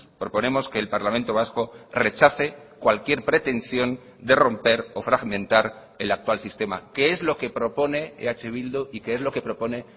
proponemos que el parlamento vasco rechace cualquier pretensión de romper o fragmentar el actual sistema que es lo que propone eh bildu y que es lo que propone